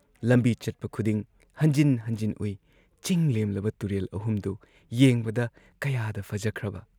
ꯂꯝꯕꯤ ꯆꯠꯄ ꯈꯨꯗꯤꯡ ꯍꯟꯖꯤꯟ ꯍꯟꯖꯤꯟ ꯎꯏ ꯆꯤꯡꯂꯦꯝꯂꯕ ꯇꯨꯔꯦꯜ ꯑꯍꯨꯝꯗꯨ ꯌꯦꯡꯕꯗ ꯀꯌꯥꯗ ꯐꯖꯈ꯭ꯔꯕ!